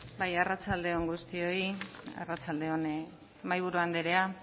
bai arratsalde on guztioi arratsalde on mahaiburu andrea